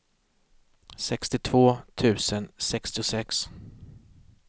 sextiotvå tusen sextiosex